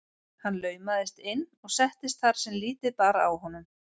Hann laumaðist inn og settist þar sem lítið bar á honum.